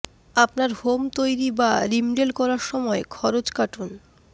আপনার হোম তৈরি বা রিমডেল করার সময় খরচ কাটুন